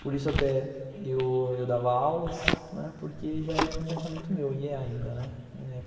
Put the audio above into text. Por isso até eu dava aulas, né, porque já era um pensamento meu e é ainda.